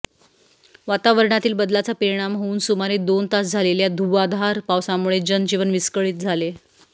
वातावरणातील बदलाचा परिणाम होऊन सुमारे दोन तास झालेल्या धुव्वाधार पावसामुळे जनजीवन विस्कळीत झाले